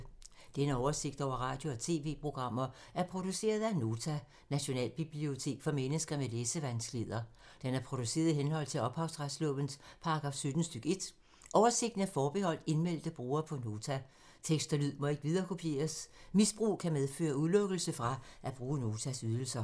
Denne oversigt over radio og TV-programmer er produceret af Nota, Nationalbibliotek for mennesker med læsevanskeligheder. Den er produceret i henhold til ophavsretslovens paragraf 17 stk. 1. Oversigten er forbeholdt indmeldte brugere på Nota. Tekst og lyd må ikke viderekopieres. Misbrug kan medføre udelukkelse fra at bruge Notas ydelser.